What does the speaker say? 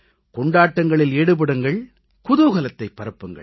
கொண்டாட்டங்களில் ஈடுபடுங்கள் குதூகலத்தை பரப்புங்கள்